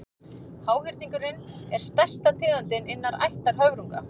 háhyrningurinn er stærsta tegundin innan ættar höfrunga